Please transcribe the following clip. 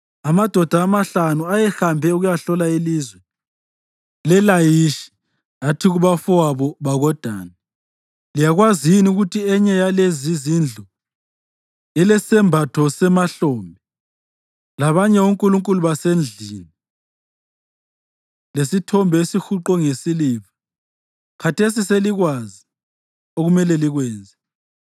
Amadoda amahlanu ayehambe ukuyahlola ilizwe leLayishi athi kubafowabo bakoDani, “Liyakwazi yini ukuthi enye yalezizindlu ilesembatho semahlombe, labanye onkulunkulu basendlini, lesithombe esihuqwe ngesiliva? Khathesi selikwazi okumele likwenze.”